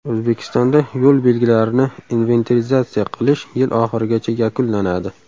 O‘zbekistonda yo‘l belgilarini inventarizatsiya qilish yil oxirigacha yakunlanadi.